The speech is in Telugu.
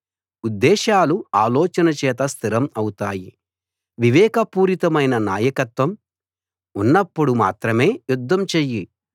ఉద్దేశాలు ఆలోచనచేత స్థిరం అవుతాయి వివేక పూరితమైన నాయకత్వం ఉన్నప్పుడు మాత్రమే యుద్ధం చెయ్యి